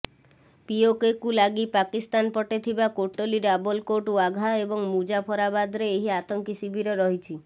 ପିଓକେକୁ ଲାଗି ପାକିସ୍ତାନ ପଟେ ଥିବା କୋଟଲି ରାବଲକୋଟ ୱାଘା ଏବଂ ମୁଜାଫରାବାଦରେ ଏହି ଆତଙ୍କୀ ଶିବିର ରହିଛି